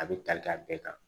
A bɛ tali kɛ a bɛɛ kan